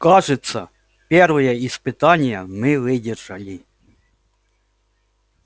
кажется первое испытание мы выдержали